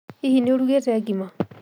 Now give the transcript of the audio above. Hihi nĩ ũrugĩte ngima?